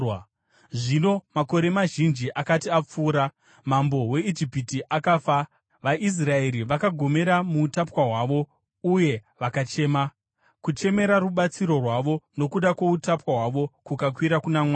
Zvino makore mazhinji akati apfuura, mambo weIjipiti akafa. VaIsraeri vakagomera muutapwa hwavo uye vakachema, kuchemera rubatsiro rwavo nokuda kwoutapwa hwavo kukakwira kuna Mwari.